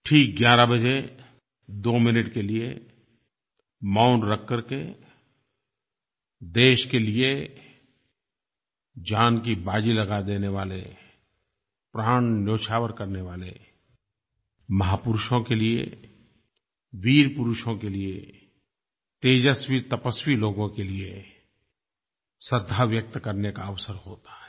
ठीक 11 बजे 2 मिनट के लिये मौन रख करके देश के लिये जान की बाज़ी लगा देने वाले प्राण न्योछावर करने वाले महापुरुषों के लिये वीर पुरुषों के लिये तेजस्वीतपस्वी लोगों के लिये श्रद्धा व्यक्त करने का अवसर होता है